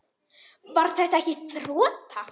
Var þetta ekki þota?